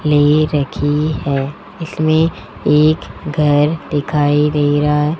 ले रखी है इसमें एक घर दिखाई दे रहा है।